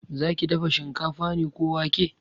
Zaki dafa shinkafa ne ko wake?